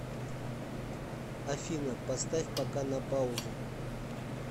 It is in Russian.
афина поставь пока на паузу